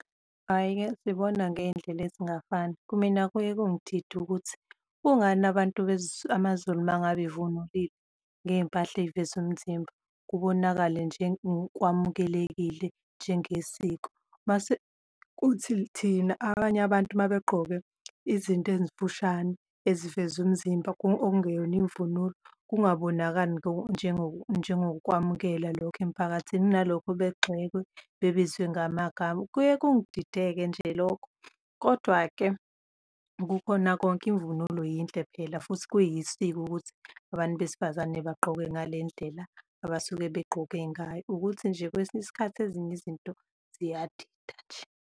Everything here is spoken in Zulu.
Hhayi-ke sibona ngey'ndlela ezingafani, kumina kuye kungidide ukuthi kungani abantu amaZulu uma ngabe evunulile ngey'mpahla eziveza umzimba kubonakale nje kwamukelekile njengesiko. Uma sekuthi thina abanye abantu uma begqoke izinto ezifushane eziveza umzimba, okungeyona imvunulo kungabonakali njengokwamukelwa lokho emiphakathini kunalokho begxekwe, bebizwe ngamagama, kuye kungidideke nje lokho. Kodwa-ke kukhona konke imvunulo yinhle phela futhi kuyisiko ukuthi abantu besifazane bagqoke ngale ndlela abasuke begqoke ngayo, ukuthi nje kwesinye isikhathi ezinye izinto ziyadida nje.